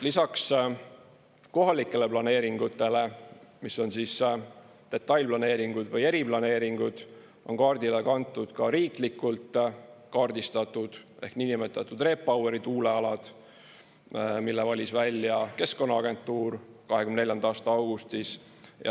Lisaks kohalikele planeeringutele, mis on detailplaneeringud või eriplaneeringud, on kaardile kantud ka riiklikult kaardistatud ehk niinimetatud REPoweri tuulealad, mille valis välja Keskkonnaagentuur 2024. aasta augustis.